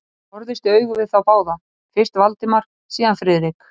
Hann horfðist í augu við þá báða, fyrst Valdimar, síðan Friðrik.